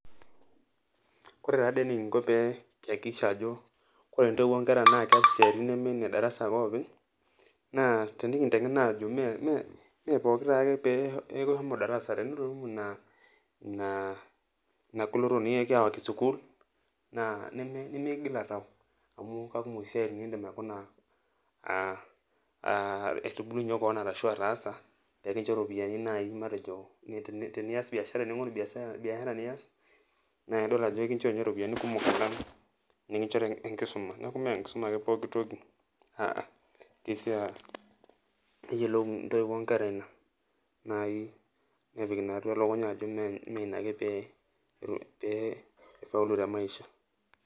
Kore tadi enikinko pee keakikisha ajo, ore intoiwuo onkera na kees isiaitin nemene darasa ake openy, naa tenikinteng'ena ajo mepooki taake peeku ishomo darasa tenitu imu ina goloto nikiyawaki sukuul, naa nimikigila tao. Amu kakumok isiaitin nidim aikuna aitubulunye keon arashu ataasa, pekincho ropiyiani nai matejo tenias biashara ning'oru biashara nias, na idol ajo ekincho nye ropiyiani kumok alang enikincho enkisuma. Neeku menkisuma ake pooki toki, aa. Kishaa neyiolou intoiwuo onkera ina, nai nepik ina atua elukunya ajo meina ake pe i faulu temaisha.